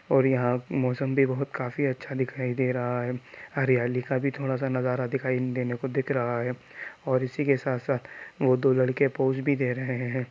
और यहाँ मौसम भी बहुत काफी अच्छा दिखाई दे रहा है | हरियाली का भी थोड़ा सा नजारा दिखाई देने को दिख रहा है और इसी के साथ साथ वो दो लड़के पोज भी दे रहे है।